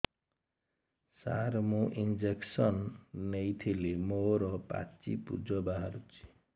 ସାର ମୁଁ ଇଂଜେକସନ ନେଇଥିଲି ମୋରୋ ପାଚି ପୂଜ ବାହାରୁଚି